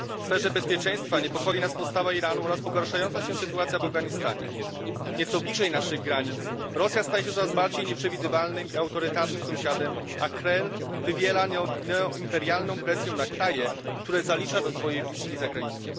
W sferze bezpieczeństwa niepokoi nas postawa Iranu oraz pogarszająca się sytuacja w Afganistanie. Nieco bliżej naszych granic Rosja staje się coraz bardziej nieprzewidywalnym i autorytarnym sąsiadem, a Kreml wywiera neoimperialną presję na kraje, które zalicza do swojej bliskiej zagranicy.